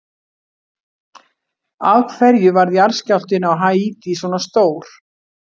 Af hverju varð jarðskjálftinn á Haítí svona stór?